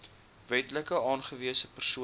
wetlik aangewese persoon